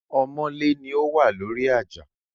Ọmọ́lé ni ó wà lórí àjà